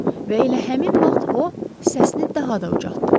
Və elə həmin vaxt o, səsini daha da ucaltdı.